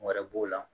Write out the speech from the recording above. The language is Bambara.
Wɛrɛ b'o la